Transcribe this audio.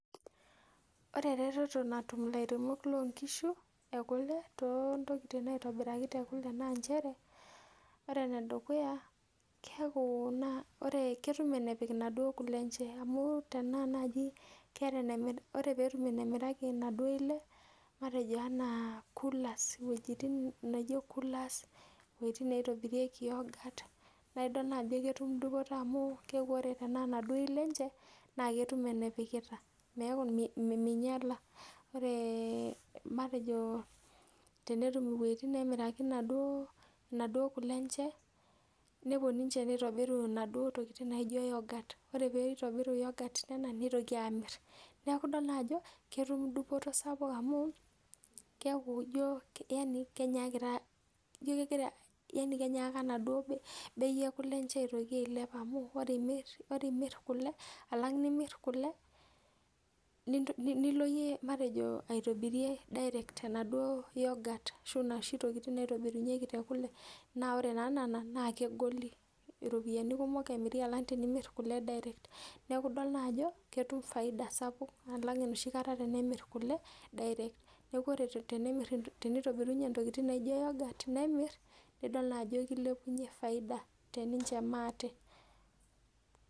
Ore eretoto natum ilairemok loo nkishu e kule too ntokiting naitobiraki te kule naa nchere, ore enedukuya keeku naa ketum enepik inaduo kule enche amu tenaa naaji keeta, ore peetum enemiraki inaaduo ile matejo enaa coolers iwuejitin naijo coolers, iwuejitin naitobirieki yogurt naaidol naa ajo ketum dupoto amu keeku ore tenaa inaduo ile enche naa ketum enepikita neeku minyala. Ore matejo tenetum iwuejitin neemiraki inaduo, inaduo kule enche nepwo ninche nitobiru inaduo tokiting naijo yogurt. Ore pee itobiru yogurt tena neitoki aamirr. Nidol ajo ketum dupoto sapuk amu keeku ijo yani kenyaakita, ijo kegira yani kenyaaka enaduo bei enche e kule aitoki ailep amu ore imirr kule, alang nimirr kule, nilo iyie matejo aitobirie direct enaduo yogurt ashu inoshi tokiting naitobirunyeki te kule. Naa ore naa nena naa kegoli. Iropiyiani kumok emiri alang tenimirr kule direct. Neeku idol naa ajo ketum faida sapuk alang enoshi kata tenemirr kule direct. Neeku ore tenemirr, tenitobirunye intokiting naijo yogurt nemirr, nidol naa ajo kilepunye faida te ninche maate